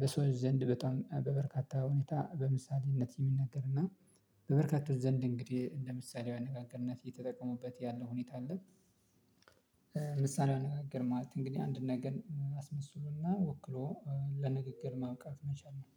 በሰዎች ዘንድ በጣም በበርካታ ሁኔታ በምሳሌነት የሚነገርና እና በበርካታ ዘንድ እንግዲህ እንደ ምሳሌያዊ አነጋገርነት የተጠቀሙበት ያለው ሁኔታ አለ። ምሳሌያዊ ነገር ማለት እንግዲህ አንድ ነገር አስመስሎና ወክሎ ለንግግር ማብቃት መቻል ነው